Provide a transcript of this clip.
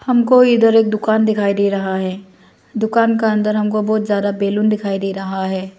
हमको इधर एक दुकान दिखाई दे रहा है दुकान का अंदर हमको बहुत ज्यादा बैलून दिखाई दे रहा है।